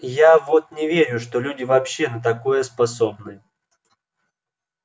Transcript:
я вот не верю что люди вообще на такое способны